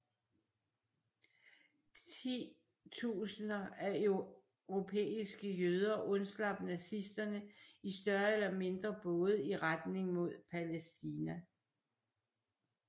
Ti tusinder af europæiske jøder undslap nazisterne i større eller mindre både i retning mod Palæstina